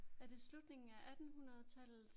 Er det slutningen af attenhundredetallet?